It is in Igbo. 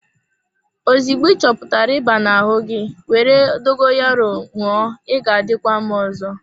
Ozugbo ị chọpụtara ịba na-ahụ gi, were dogoyaro ṅụọ ị ga-adịkwa mma ọzọ.